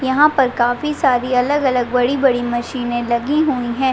यहाँ पर काफी सारी अलग-अलग बड़ी-बड़ी मशीने लगीं हुई है।